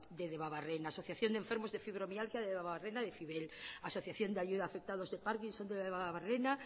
de debabarrena asociación de enfermos de fibromialgia de debabarrena asociación de ayuda afectados de parkinson de debabarrena